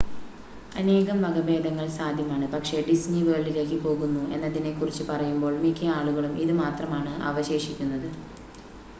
അനേകം വകഭേദങ്ങൾ സാധ്യമാണ് പക്ഷേ ഡിസ്നി വേൾഡിലേക്ക് പോകുന്നു എന്നതിനെക്കുറിച്ച് പറയുമ്പോൾ മിക്ക ആളുകളും ഇത് മാത്രമാണ് അവശേഷിക്കുന്നത്